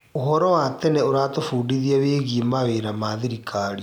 ũhoro wa tene ũratũbundithia wĩgiĩ mawĩra ma thirikari.